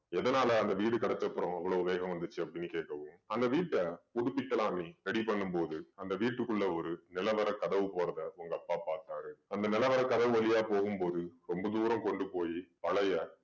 எதனால அந்த வீடு கிடச்சப்புறம் இவ்வளோ வேகம் வந்துச்சு அப்படீன்னு கேக்கவும் அந்த வீட்ட புதுப்பிக்கலாம்னு ready பண்ணும் போது அந்த வீட்டுக்குள்ள ஒரு நிலவறை கதவு போறதை உங்க அப்பா பாத்தாரு. அந்த நிலவறை கதவு வழியா போகும் போது ரொம்ப தூரம் கொண்டு போயி பழைய